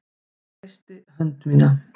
Hún kreistir hönd mína.